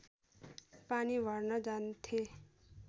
पानी भर्न जान्थे